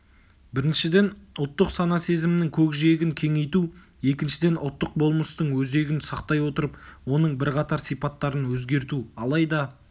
біріншіден ұлттық сана-сезімнің көкжиегін кеңейту екіншіден ұлттық болмыстың өзегін сақтай отырып оның бірқатар сипаттарын өзгерту алайда